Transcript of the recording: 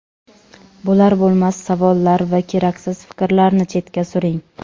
Bo‘lar-bo‘lmas savollar va keraksiz fikrlarni chetga suring.